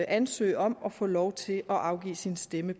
ansøge om at få lov til at afgive sin stemme